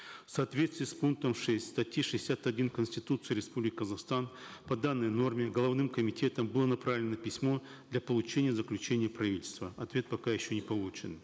в соответствии с пунктом шесть статьи шестьдесят один конституции республики казахстан по данной норме головным комитетом было направлено письмо для получения заключения правительства ответ пока еще не получен